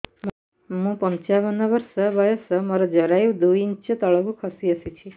ମୁଁ ପଞ୍ଚାବନ ବର୍ଷ ବୟସ ମୋର ଜରାୟୁ ଦୁଇ ଇଞ୍ଚ ତଳକୁ ଖସି ଆସିଛି